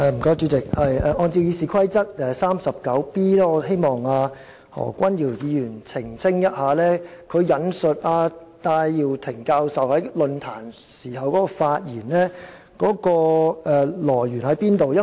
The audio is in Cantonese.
主席，按照《議事規則》第 39b 條，我希望何君堯議員澄清，他引述戴耀廷副教授在論壇上發言的來源為何？